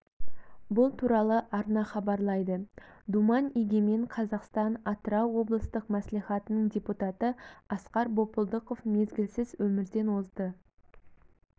бұл туралы арна хабарлайды думан егемен қазақстан атырау облыстық мәслихатының депутаты асқар бопылдықов мезгілсіз өмірден озды